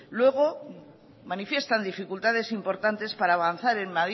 luego manifiestan dificultades importantes para avanzar